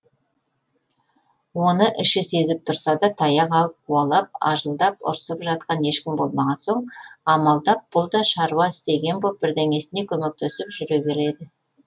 оны іші сезіп тұрса да таяқ алып қуалап ажылдап ұрсып жатқан ешкім болмаған соң амалдап бұл да шаруа істеген боп бірдеңесіне көмектесіп жүре береді